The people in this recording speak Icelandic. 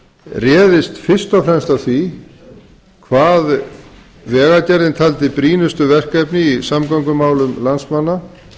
réðist fyrst og fremst af því hvað vegagerðin taldi brýnustu verkefni í samgöngumálum landsmanna